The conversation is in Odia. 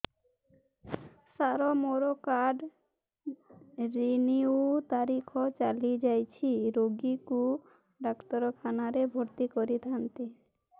ସାର ମୋର କାର୍ଡ ରିନିଉ ତାରିଖ ଚାଲି ଯାଇଛି ରୋଗୀକୁ ଡାକ୍ତରଖାନା ରେ ଭର୍ତି କରିଥାନ୍ତି